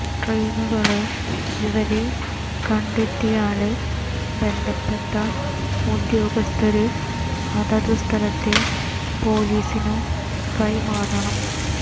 ട്രെയിനുകളില് ഇവരെ കണ്ടെത്തിയാല് ബന്ധപ്പെട്ട ഉദ്യോഗസ്ഥര് അതതു സ്ഥലത്തെ പൊലീസിനു കൈമാറണം